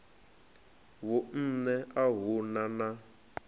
vhunṋe a hu na na